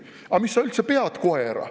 "Aga mis sa üldse pead koera?